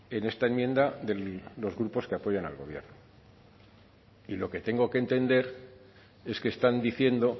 en esta enmienda de los grupos que apoyan al gobierno y lo que tengo que entender es que están diciendo